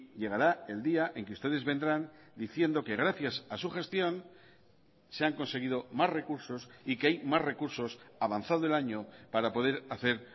llegará el día en que ustedes vendrán diciendo que gracias a su gestión se han conseguido más recursos y que hay más recursos avanzado el año para poder hacer